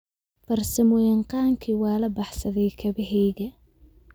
Farsamoyaqaankii waa la baxsaday kabahayga